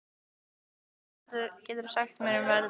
Dalbert, hvað geturðu sagt mér um veðrið?